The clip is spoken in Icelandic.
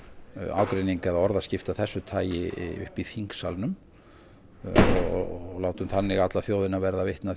ágreining eða orðaskipti af þessu tagi uppi í þingsalnum og látum þannig alla þjóðina verða vitni að